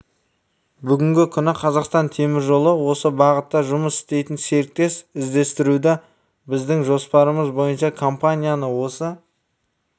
бүгінгі күні қазақстан темір жолы осы бағытта жұмыс істейтін серіктес іздестіруде біздің жоспарымыз бойынша компанияны осы